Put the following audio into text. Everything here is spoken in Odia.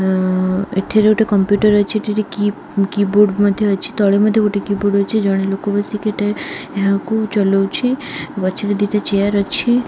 ଆଁ ଏଠାରେ ଗୋଟେ କମ୍ପୁଟର ଅଛି ଏଠି ଗୋଟେ କି --କିବୋର୍ଡ ମଧ୍ୟ ଅଛି ତଳେ ମଧ୍ୟ ଗୋଟେ କିବୋର୍ଡ ଅଛି ଜଣେ ଲୋକ ବସିକି ଏଠା ଏହାକୁ ଚଲଉଛି ପଛରେ ଦିଟା ଚେୟାର ଅଛି ।